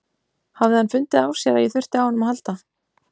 Hafði hann fundið á sér að ég þurfti á honum að halda?